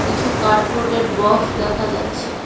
কিছু কার্ডবোর্ডের বক্স দেখা যাচ্ছে।